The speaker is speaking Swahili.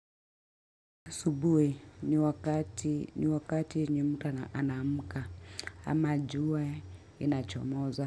Subui ni wakati ni wakati yenye mtu ana anamka ama jua inachomoza.